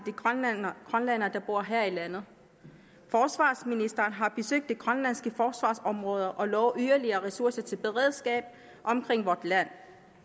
grønlændere der bor her i landet forsvarsministeren har besøgt de grønlandske forsvarsområder og lovet yderligere ressourcer til beredskab omkring vort land